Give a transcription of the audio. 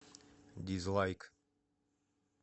дизлайк